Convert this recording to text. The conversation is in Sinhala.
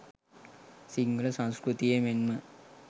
සිංහල සංස්කෘතියේ මෙන්ම